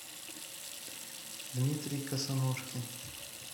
дмитрий косоножкин